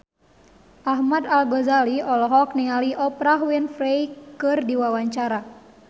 Ahmad Al-Ghazali olohok ningali Oprah Winfrey keur diwawancara